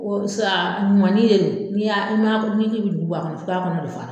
sa ɲuman ni ye, n'i y'a, n'i ma min nugu bɔ a kɔnɔ, k'a kɔnɔ bi fara